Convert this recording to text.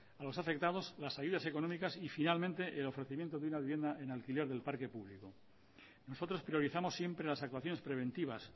a los afectados las ayudas económicas y finalmente el ofrecimiento de una vivienda en alquiler del parque público nosotros priorizamos siempre las actuaciones preventivas